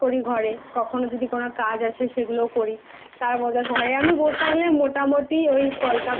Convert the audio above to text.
মাঝে মধ্যে আমি Practice করি ঘরে কখনও যদি কোন